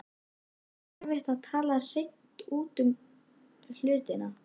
Finnst þér erfitt að tala hreint út um hlutina?